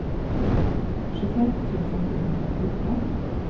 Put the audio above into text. tjugofem tusen sjuhundrafjorton